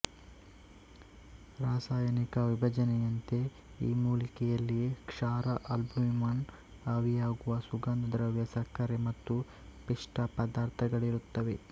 ರಾಸಾಯನಿಕ ವಿಭಜನೆಯಂತೆ ಈ ಮೂಲಿಕೆಯಲ್ಲಿ ಕ್ಷಾರ ಆಲ್ಬುಮಿನ್ ಆವಿಯಾಗುವ ಸುಗಂಧ ದ್ರವ್ಯ ಸಕ್ಕರೆ ಮತ್ತು ಪಿಷ್ಟ ಪದಾರ್ಥಗಳಿರುತ್ತವೆ